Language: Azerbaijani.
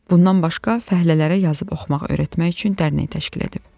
Bundan başqa fəhlələrə yazıb oxumaq öyrətmək üçün dərnək təşkil edib.